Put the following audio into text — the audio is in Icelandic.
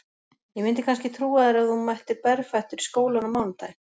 Ég myndi kannski trúa þér ef þú mættir berfættur í skólann á mánudaginn